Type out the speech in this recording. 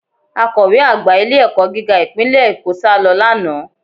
Akọ̀we àgbà ilé-ẹ̀kọ́ gíga ìpínlẹ̀ Èkó sálọ lánàá